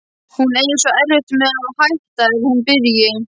Hún eigi svo erfitt með að hætta ef hún byrji.